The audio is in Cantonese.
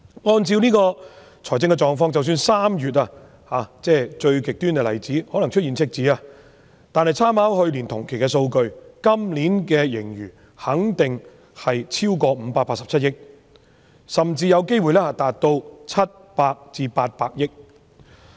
按照這種財政狀況及參考去年同期的數據，即使是最極端的例子，在3月出現赤字，今年的盈餘肯定超過587億元，甚至有機會達到700億元至800億元。